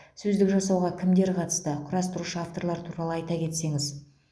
сөздік жасауға кімдер қатысты құрастырушы авторлар туралы айта кетсеңіз